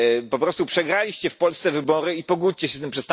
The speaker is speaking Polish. Po prostu przegraliście w Polsce wybory i pogódźcie się z tym.